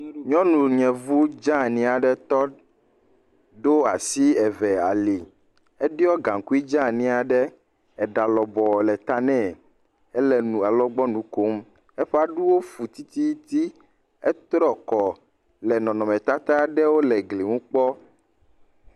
Nyɔnu yevu dzeani aɖe tɔ ɖo asi eve ali. Eɖiɔ gaŋkui dzeani aɖe. Eɖa lɔbɔ le ta nɛ. Ele nu alɔgbɔnu kom. Eƒe aɖuwo fu tititi. Etrɔ kɔ le nɔnɔme tata ɖewo le glinu kpɔm.